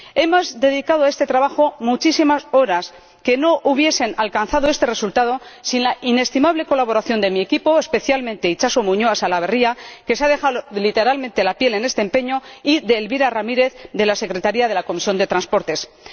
Hemos dedicado a este trabajo muchísimas horas, que no hubiesen alcanzado este resultado sin la inestimable colaboración de mi equipo, especialmente de Itxaso Muñoa Salaverria, —que se ha dejado literalmente la piel en este empeño— y de Elvira Ramírez de la secretaría de la Comisión de Transportes y Turismo.